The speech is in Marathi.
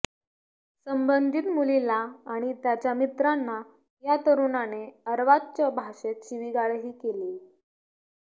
संबंधीत मुलीला आणि त्यांच्या मित्रांना या तरुणाने आर्वाच्च भाषेत शिविगाळही केलीय